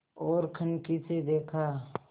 ओर कनखी से देखा